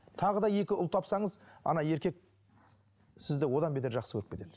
тағы да екі ұл тапсаңыз ана еркек сізді одан бетер жақсы көріп кетеді